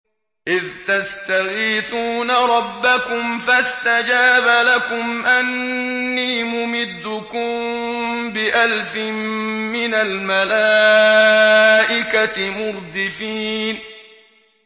إِذْ تَسْتَغِيثُونَ رَبَّكُمْ فَاسْتَجَابَ لَكُمْ أَنِّي مُمِدُّكُم بِأَلْفٍ مِّنَ الْمَلَائِكَةِ مُرْدِفِينَ